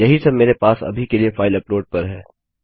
यही सब मेरे पास अभी के लिए फाइल अपलोड पर है